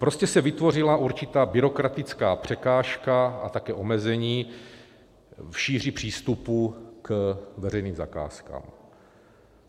Prostě se vytvořila určitá byrokratická překážka a také omezení v šíři přístupu k veřejným zakázkám.